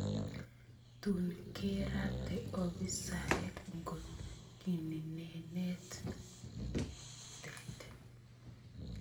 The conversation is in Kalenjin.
Tuun keraate obiisaeek nkot kininenet ng�eetet